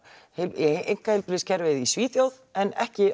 einka í einkaheilbrigðiskerfið í Svíþjóð en ekki